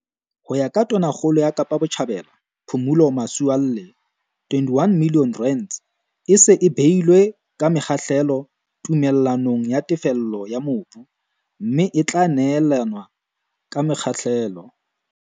Ho ya ka Tonakgolo ya Kapa Botjhabela, Phumulo Masualle, R21 milione e se e beilwe ka mahlelo tume llanong ya tefello ya mobu, mme e tla neelanwa ka mekgahlelo.